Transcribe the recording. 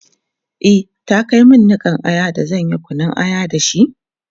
e ta Kai min Nikan Aya da zanyi Kunun aya da shi?